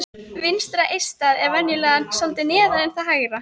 Vinstra eistað er venjulega svolítið neðar en það hægra.